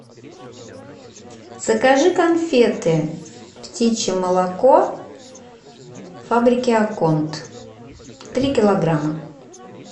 закажи конфеты птичье молоко фабрики аконт три килограмма